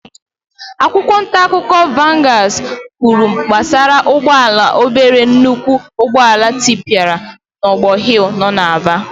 Akwụkwọ ntaakụkọ vanguards kwuru gbasara ụgbọala obere nnukwu ụgbọala tịpịara n'ogbor hill nọ n'Aba.